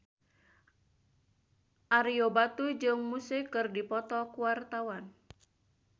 Ario Batu jeung Muse keur dipoto ku wartawan